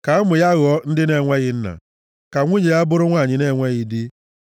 Ka ụmụ ya ghọọ ndị na-enweghị nna, ka nwunye ya bụrụ nwanyị na-enweghị di.